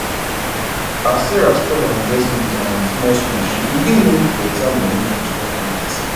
as sarah spread her investment um small small she begin make better money from stock market